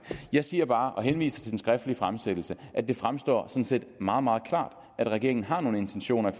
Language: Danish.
jeg siger bare idet jeg henviser til den skriftlige fremsættelse at det fremstår meget meget klart at regeringen har nogle intentioner